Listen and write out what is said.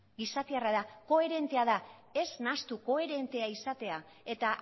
gizatiarra da koherentea da ez nahastu koherentea izatea eta